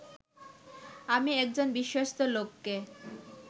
আমি একজন বিশ্বস্ত লোককে